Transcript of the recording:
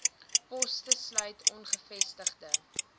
poste sluit ongevestigde